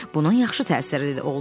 Bunun yaxşı təsiri də oldu.